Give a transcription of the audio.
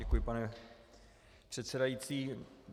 Děkuji, pane předsedající.